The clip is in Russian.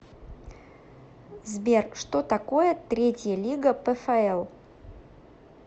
сбер что такое третья лига пфл